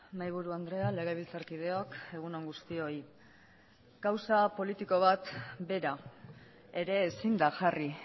mahaiburu andrea legebiltzarkideok egun on guztioi kausa politiko bat bera ere ezin da jarri